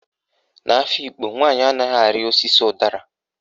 N'Afikpo, nwaanyị anaghị arị osisi ụdara.